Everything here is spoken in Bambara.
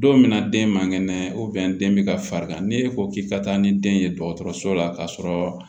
Don min na den man kɛnɛ den bɛ ka farigan ni e ko k'i ka taa ni den ye dɔgɔtɔrɔso la ka sɔrɔ